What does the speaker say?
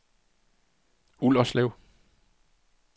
Ullerslev